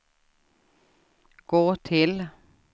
gå till